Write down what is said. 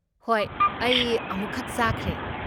ꯍꯣꯏ, ꯑꯩ ꯑꯃꯨꯛꯈꯛ ꯆꯥꯈ꯭ꯔꯦ꯫